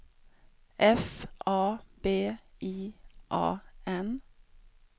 F A B I A N